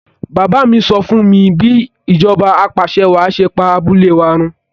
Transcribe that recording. Bàbá mi sọ fúnmi bí ìjọba apàṣẹwàá ṣe pa abúlé wa run